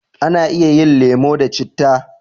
A na iya yin lemo da citta